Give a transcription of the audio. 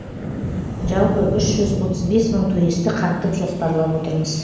жалпы үш жүз отыз бес мың туристі қамтып жоспарлап отырмыз